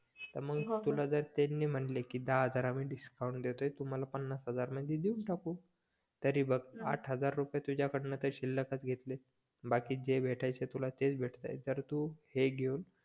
तर मग तुला जर त्यांनी म्हटले दहा हजार आम्ही डिस्काउंट देतोय तुम्हाला पन्नास हजार मध्ये देवून टाकू तरी बघ आठ हजार रुपये तुझ्याकडन शिल्लकच घेतले बाकी जे भेटायचे ते तुला तेच भेटत आहे जर तू हे घेवून